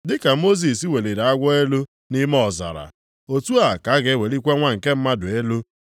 Dị ka Mosis weliri agwọ elu nʼime ọzara, otu a ka a ga-ewelikwa Nwa nke Mmadụ elu.